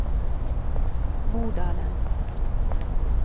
Modalen